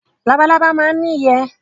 Labalábá máa ń ní ìyẹ́.